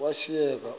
washiyeka